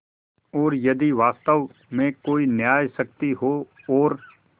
और यदि वास्तव में कोई न्यायशक्ति हो और